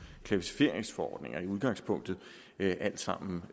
klassificeringsforordning i udgangspunktet alle sammen